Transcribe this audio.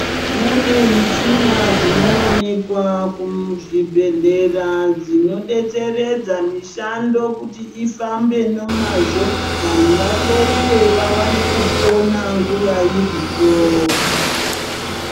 Kune muchina dzinoonekwa kuzvibhehlera dzinodetseredza mushando kuti ifambe nemazvo vantu vahloiwe vawane kupona nguwa iripo.